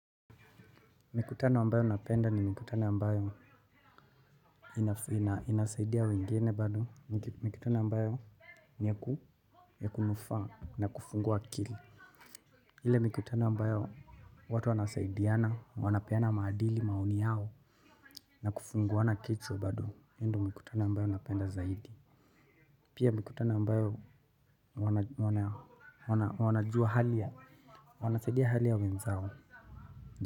Mikutano ambayo napenda ni mikutano ambayo inasaidia wengine bado mikutano ambayo ni ya kunufaa na kufungua akili. Ile mikutano ambayo watu wanasaidiana wanapeana maadili maoni yao na kufunguana kichwa bado hiyo ndio mikutano ambayo napenda zaidi. Pia mikutano ambayo wanajua hali ya wanasaidia hali ya wenzao.